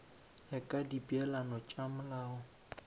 ya ka dipeelano tša molao